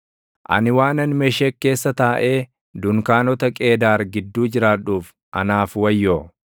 Ani waanan Meshek keessa taaʼee dunkaanota Qeedaar gidduu jiraadhuuf, anaaf wayyoo!